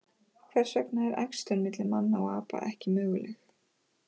Hvers vegna er æxlun milli manna og apa ekki möguleg?